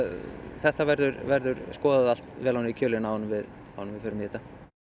þetta verður verður skoðað allt vel ofan í kjölinn áður en við förum í þetta